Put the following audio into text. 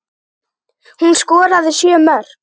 Hún skoraði sjö mörk.